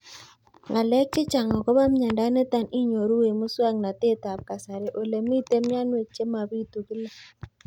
Ng'alek chechang' akopo miondo nitok inyoru eng' muswog'natet ab kasari ole mito mianwek che mapitu kila